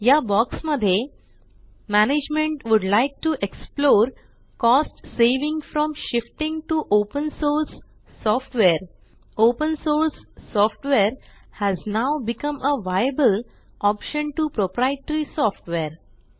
या बॉक्स मध्ये management would like to explore cost saving from shifting to open source software open source software has now become a viable option to proprietary software